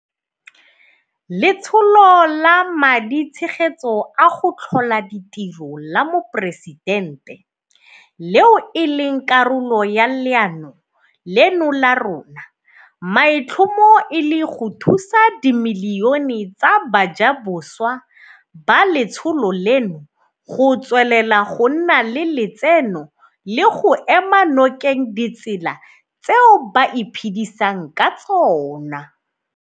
Letsholo la Maditshegetso a go Tlhola Ditiro la Moporesitente, leo e leng karolo ya leano leno la rona, maitlhomo e le go thusa dimilione tsa bajaboswa ba letsholo leno go tswelela go nna le letseno le go ema nokeng ditsela tseo ba iphedisang ka tsona.